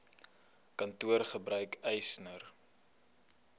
kantoor gebruik eisnr